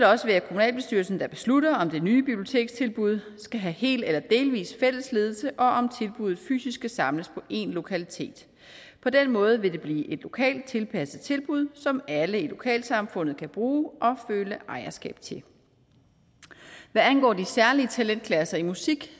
også være kommunalbestyrelsen der beslutter om det nye bibliotekstilbud skal have hel eller delvis fælles ledelse og om tilbuddet fysisk skal samles på én lokalitet på den måde vil det blive et lokalt tilpasset tilbud som alle i lokalsamfundet kan bruge og føle ejerskab til hvad angår de særlige talentklasser i musik